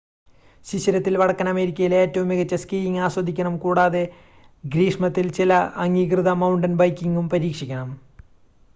ശിശിരത്തിൽ വടക്കൻ അമേരിക്കയിലെ ഏറ്റവും മികച്ച ചില സ്കീയിംഗ് ആസ്വദിക്കണം കൂടാതെ ഗ്രീഷ്മത്തിൽ ചില അംഗീകൃത മൌണ്ടൻ ബൈക്കിംഗും പരീക്ഷിക്കണം